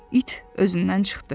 İt özündən çıxdı.